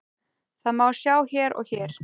Það má sjá hér og hér.